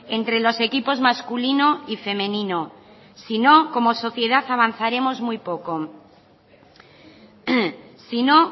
entre los equipos masculino y femenino si no como sociedad avanzaremos muy poco si no